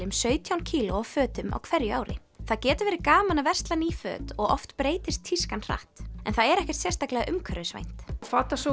um sautján kíló af fötum á hverju ári það getur verið gaman að versla ný föt og oft breytist tískan hratt en það er ekkert sérstaklega umhverfisvænt